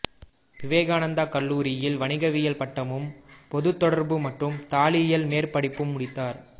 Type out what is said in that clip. விவேகானந்தா கல்லூரியில் வணிகவியல் பட்டமும் பொதுத் தொடர்பு மற்றும் தாளியலில் மேற்படிப்பும் முடித்தார்